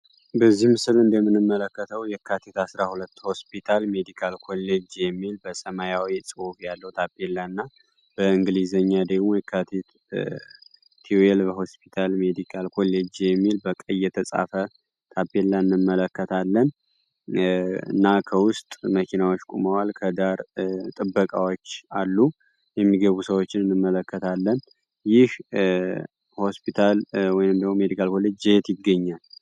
በዚህም ስል እንደምን መለከተው የካቴት አሥራ ሁለት ሆስፒታል ሜዲካል ኮሌጅ የሚል በሰማያዊ ጽሑብ ያለው ታፔልላ እና በእንግሊዘኛ ደግሞ የካቴት ቲዌል በሆስፒታል ሜዲካል ኮሌጅ የሚል በቀየተጻፈ ታፔላንመለከት ለን እና ከውስጥ መኪናዎች ቁመዋል ከዳር ጥበቃዎች አሉ የሚገቡ ሰዎችን ንመለከታለን ይህ ሆስፒታል ወን ሜዲካል ኮሌጅ ዜት ይገኛን